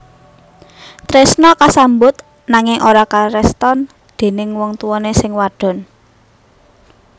Tresna kasambut nanging ora kareston déning wong tuwané sing wadon